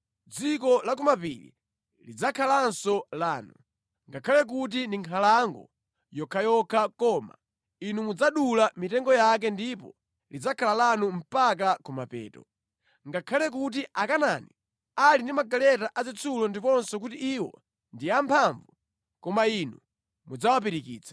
dziko la ku mapiri lidzakhalanso lanu. Ngakhale kuti ndi nkhalango yokhayokha koma inu mudzadula mitengo yake ndipo lidzakhala lanu mpaka kumapeto. Ngakhale kuti Akanaani ali ndi magaleta azitsulo ndiponso kuti iwo ndi amphamvu, koma inu mudzawapirikitsa.”